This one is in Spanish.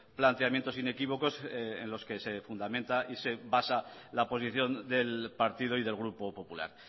planteamientos inequívocos en los que se fundamenta y se basa la posición del partido y del grupo popular